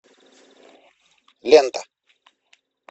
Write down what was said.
лента